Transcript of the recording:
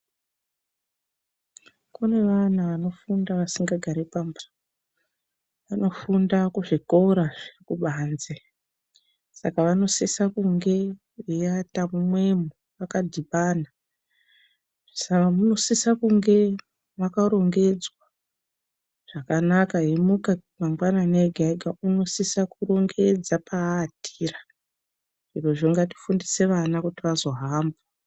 Kune vana vanofunda vasingagari pamba. Vanofunda kuzvikora zvekubanze, saka vanosisa kunge veiata mumwemo vakadhibana. Saka munosisa kunge makarongedzwa zvakanaka, veimuka mangwanani ega ega unosisa kurongedza paatira. Zvirozvo ngatifundise vana kuti vazohamba.